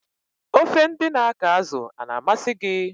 Ofe ndị na akọ azụ a-na amasị gị?